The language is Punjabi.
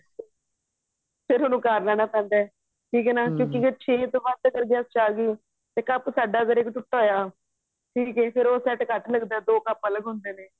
ਫੇਰ ਉਹਨੂੰ ਕਾਰ ਲੈਣਾ ਪੈਂਦਾ ਠੀਕ ਹੈ ਨਾ ਕਿਉਂਕਿ ਫੇਰ ਛੇ ਤੋਂ ਬਾਅਦ ਤਾਂ ਹਾਂ ਚਾਲੀ ਤੇ ਕੱਪ ਸਾਦਾ ਅਗਰ ਇੱਕ ਟੁੱਟਾ ਹੋਇਆ ਫਿਰ ਉਹ ਸੈੱਟ ਘੱਟ ਲਗਦਾ ਦੋ ਕੱਪ ਅਲੱਗ ਹੁੰਦੇ ਨੇ